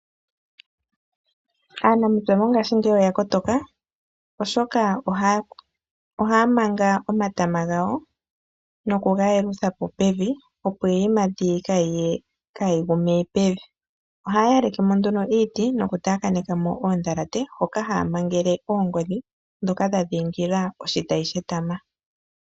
Aanamapya mo ngashi ngeyi oya kotoka, oshoka ohaya manga omatama gawo noku ga yelutha po pevi, opo iiyimati yawo kayi gu me pevi. Oha yaleke mo nduno iiti noku takane ka mo oodhalate hoka haya mangele oongodhi ndhoka dha dhingila oshitayi shetama.